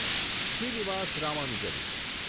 Srinivasa Ramanujan